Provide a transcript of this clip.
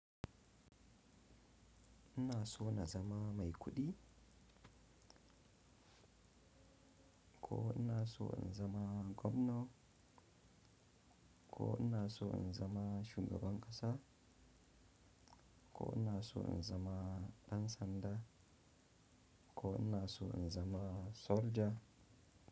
Ina so na zama mai kuɗi ko ina so in zama gwamno ko ina so in zama shugaban ƙasa ko ina so in zama ɗan sanda ko ina so in zama soja.